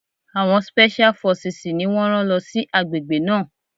Àwọn spẹ́ṣíá fọsìsì ni wọ́n rán lọ sí àgbègbè náà.